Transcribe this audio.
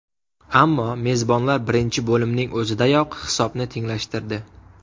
Ammo mezbonlar birinchi bo‘limning o‘zidayoq hisobni tenglashtirdi.